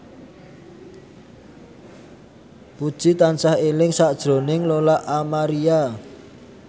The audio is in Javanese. Puji tansah eling sakjroning Lola Amaria